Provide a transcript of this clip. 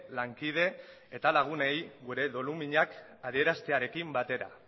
lankide eta lagunei gure doluminak adieraztearekin batera